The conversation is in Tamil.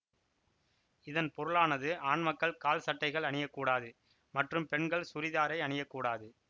இதன் பொருளானது ஆண் மக்கள் கால்சட்டைகள் அணிய கூடாது மற்றும் பெண்கள் சூரிதாரை அணிய கூடாது